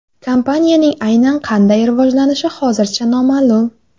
Kompaniyaning aynan qanday rivojlanishi hozircha noma’lum.